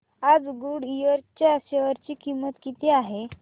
आज गुडइयर च्या शेअर ची किंमत किती आहे